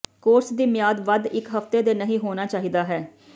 course ਦੀ ਮਿਆਦ ਵੱਧ ਇੱਕ ਹਫ਼ਤੇ ਦੇ ਨਹੀ ਹੋਣਾ ਚਾਹੀਦਾ ਹੈ